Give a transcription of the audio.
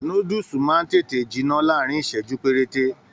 Núdúsí máa n tètè jinná láàrín iṣẹju perete.